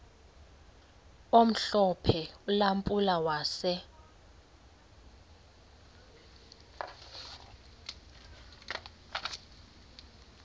omhlophe ulampulo wase